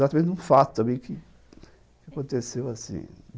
Exatamente num fato, também, que aconteceu assim.